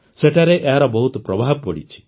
ସେଠାରେ ଏହାର ବହୁତ ପ୍ରଭାବ ପଡ଼ିଛି